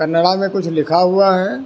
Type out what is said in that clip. में कुछ लिखा हुआ है।